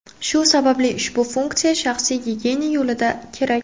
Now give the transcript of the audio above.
Shu sababli ushbu funksiya shaxsiy gigiyena yo‘lida kerak.